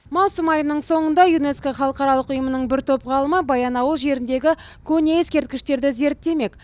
маусым айының соңында юнеско халықаралық ұйымының бір топ ғалымы баянауыл жеріндегі көне ескерткіштерді зерттемек